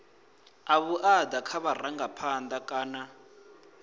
a vhuaḓa kha vharangaphanḓa kana